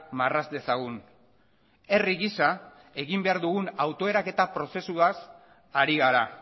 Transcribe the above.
marraz dezagun herri gisa egin behar dugun autoeraketa prozesuaz ari gara